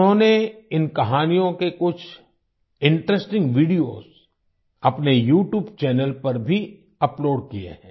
उन्होंने इन कहानियों के कुछ इंटरेस्टिंग वीडियोस अपने यूट्यूब चैनल पर भी अपलोड किए हैं